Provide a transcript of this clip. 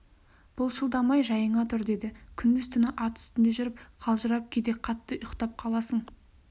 былшылдамай жайыңа тұр деді күндіз-түні ат үстінде жүріп қалжырап кейде қатты ұйықтап қаласың